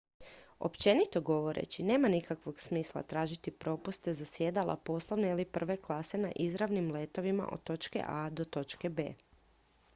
općenito govoreći nema nikakvog smisla tražiti popuste za sjedala poslovne ili prve klase na izravnim letovima od točke a do točke b